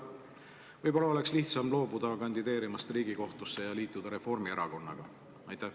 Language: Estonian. Võib-olla oleks lihtsam loobuda kandideerimast Riigikohtusse ja liituda Reformierakonnaga?